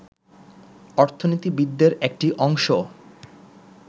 অর্থনীতিবিদদের একটি অংশ